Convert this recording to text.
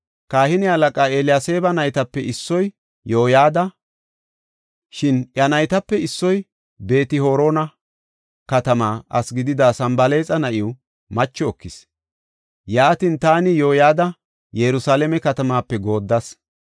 Kahine halaqaa Eliyaseeba naytape issoy Yoyada. Shin iya naytape issoy Beet-Horona katama asi gidida Sanbalaaxa na7iw macho ekis. Yaatin, taani Yoyada Yerusalaame katamaape gooddas.